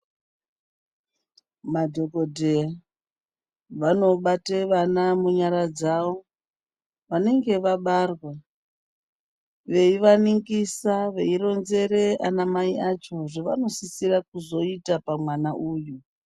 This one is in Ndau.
Madhokodheya, vanobate vana munyara dzavo, vanenge vabarwa, veivaningisa, veironzere anamai acho zvevanosisira kuzoita pamwana uyu.